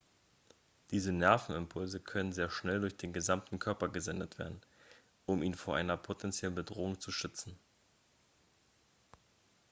diese nervenimpulse können sehr schnell durch den gesamten körper gesendet werden um ihn vor einer potenziellen bedrohung zu schützen